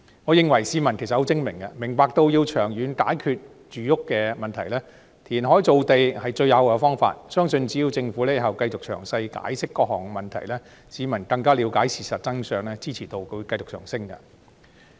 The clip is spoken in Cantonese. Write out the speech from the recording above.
我認為市民十分精明，明白到要長遠解決住屋問題，填海造地是最有效的方法，只要政府日後繼續詳細解釋各項問題，市民更了解事實真相，相信支持度將會繼續上升。